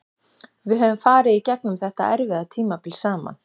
Við höfum farið í gegnum þetta erfiða tímabil saman.